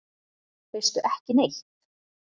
Veistu ekki neitt?